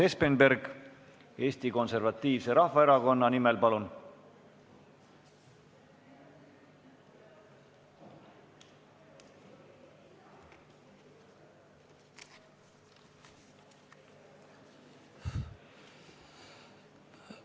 Urmas Espenberg Eesti Konservatiivse Rahvaerakonna nimel, palun!